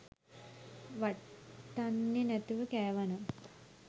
වට්ටන්නෙ නැතුව කෑවනම්